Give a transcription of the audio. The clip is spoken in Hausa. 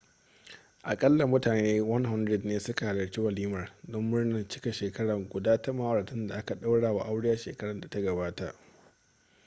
aƙalla mutane 100 ne suka halarci walimar don murnar cikar shekara guda ta ma'auratan da aka ɗaura wa aure shekarar da ta gabata